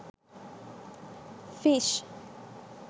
fish